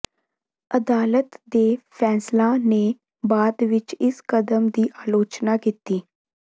ਅਦਾਲਤ ਦੇ ਫ਼ੈਸਲਾ ਨੇ ਬਾਅਦ ਵਿਚ ਇਸ ਕਦਮ ਦੀ ਆਲੋਚਨਾ ਕੀਤੀ